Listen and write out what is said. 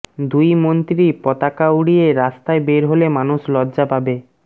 দুই মন্ত্রী পতাকা উড়িয়ে রাস্তায় বের হলে মানুষ লজ্জা পাবে